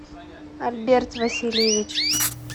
альберт васильевич